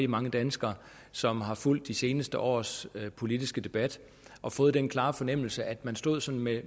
mange danskere som har fulgt de seneste års politiske debat og fået den klare fornemmelse at man stod sådan med